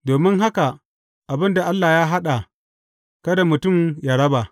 Domin haka, abin da Allah ya haɗa, kada mutum yă raba.